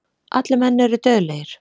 Allir menn eru dauðlegir.